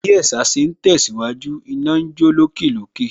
Bí ẹ̀sà ṣe ń tẹ̀síwájú, iná ń jó lókè lókè